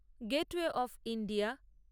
gateway of India